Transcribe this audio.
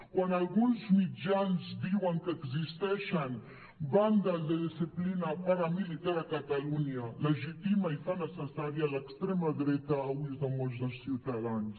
quan alguns mitjans diuen que existeixen bandes de disciplina paramilitar a catalunya legitima i fa necessària l’extrema dreta a ulls de molts dels ciutadans